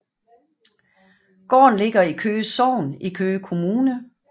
Gården ligger i Køge Sogn i Køge Kommune